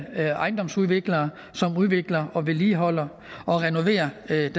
ejendomsudviklere som udvikler og vedligeholder og renoverer den